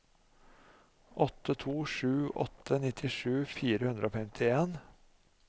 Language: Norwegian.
åtte to sju åtte nittisju fire hundre og femtien